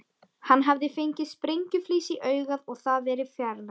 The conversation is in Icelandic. Hann hafði fengið sprengjuflís í augað og það verið fjarlægt.